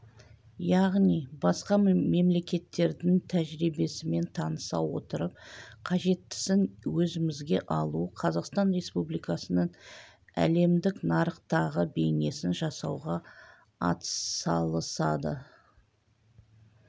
яғни басқа мемлекеттердің тәжірибесімен таныса отырып қажеттісін өзімізге алу қазақстан республикасының әлемдік нарықтағы бейнесін жасауға атсалысады